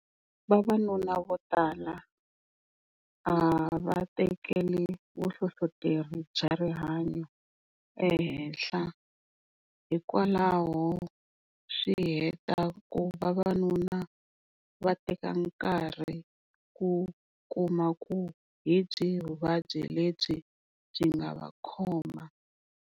Vavanuna vo tala a va tekeli vuhlohloteri bya rihanyo ehenhla hikwalaho swi heta ku vavanuna va teka nkarhi ku kuma ku hi byihi vuvabyi lebyi byi nga va khoma.